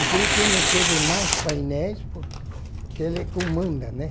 Assim que não teve mais painéis, po porque ele comanda, né?